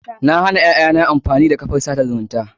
Na hana ƴaƴana amfani da kafar tsada zumunta.